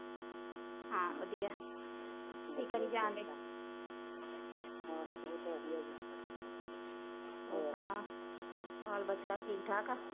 ਹੋਰ ਸਣਾਓ ਹੋਰ ਬੱਚਾ ਠੀਕ ਠਾਕ ਆ